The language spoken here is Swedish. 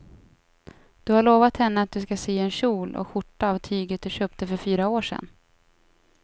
Du har lovat henne att du ska sy en kjol och skjorta av tyget du köpte för fyra år sedan.